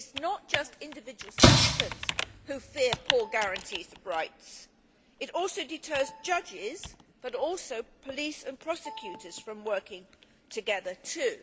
It is not just individual citizens who fear poor guarantees of rights this also deters judges, but also police and prosecutors, from working together, too.